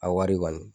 A wari kɔni